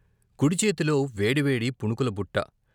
కుడిచేతిలో వేడి వేడి పునుకుల బుట్ట